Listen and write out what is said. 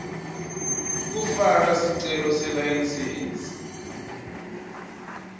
kufaka sicelo selayisensi